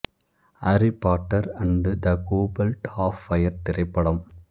aari Potter and the Goblet of Fire திரைப்படம்